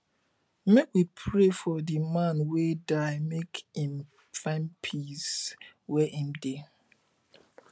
make we pray for di man wey die make im find peace where im dey